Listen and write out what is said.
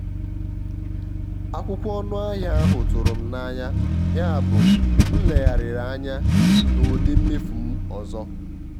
akwụkwọ ọnụ ahịa ahụ tụrụ m n'anya yabụ m legharịrị anya na ụdị mmefu m ọzọ.